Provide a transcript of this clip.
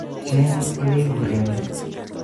Cheg ele iburen